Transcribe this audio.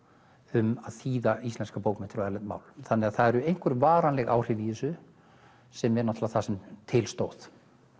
um að þýða íslenskar bókmenntir á erlend mál þannig að það eru einhver varanleg áhrif í þessu sem er það sem til stóð